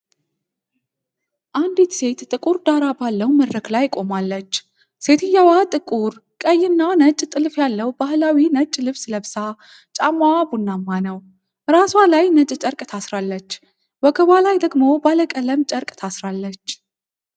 አንዲት ሴት ጥቁር ዳራ ባለው መድረክ ላይ ቆማለች። ሴትየዋ ጥቁር፣ ቀይ እና ነጭ ጥልፍ ያለው ባህላዊ ነጭ ልብስ ለብሳ፤ ጫማዋ ቡናማ ነው። ራሷ ላይ ነጭ ጨርቅ ታስራለች፤ ወገቧ ላይ ደግሞ ባለቀለም ጨርቅ ታስራለች።